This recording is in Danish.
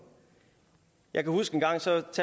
jeg kan huske